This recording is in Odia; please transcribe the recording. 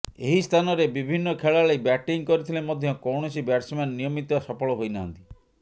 ଏହି ସ୍ଥାନରେ ବିଭିନ୍ନ ଖେଳାଳି ବ୍ୟାଟିଂ କରିଥିଲେ ମଧ୍ୟ କୌଣସି ବ୍ୟାଟ୍ସମ୍ୟାନ୍ ନିୟମିତ ସଫଳ ହୋଇନାହାନ୍ତି